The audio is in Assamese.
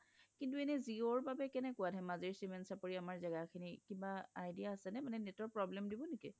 কিন্তু এনে জিঅ' ৰ বাবে কেনেকুৱা আমাৰ ধেমাজিৰ চিমেণ্ট চাপৰি আমাৰ জাগা খিনি কিবা idea আছে নে মানে network problem দিব নেকি